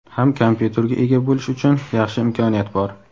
ham kompyuterga ega bo‘lish uchun yaxshi imkoniyat bor.